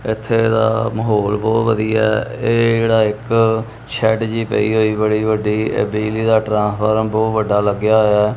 ਇਥੇ ਦਾ ਮਾਹੌਲ ਬਹੁਤ ਵਧੀਆ ਇਹ ਜਿਹੜਾ ਇੱਕ ਸ਼ੈਡ ਜਿਹੀ ਪਈ ਹੋਈ ਬੜੀ ਵੱਡੀ ਬਿਜਲੀ ਦਾ ਟ੍ਰਾਂਸਫਾਰਮ ਬਹੁਤ ਵੱਡਾ ਲੱਗਿਆ ਹੋਇਆ।